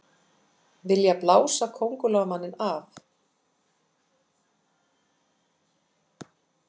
Vilja blása Kóngulóarmanninn af